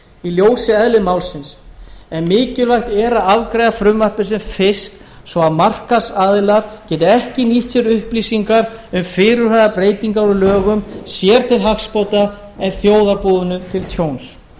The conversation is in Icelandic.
í ljósi eðlis málsins en mikilvægt er að afgreiða frumvarpið sem fyrst svo að markaðsaðilar geti ekki nýtt sér upplýsingar um fyrirhugaðar breytingar á lögum sér til hagsbóta en þjóðarbúinu til tjóns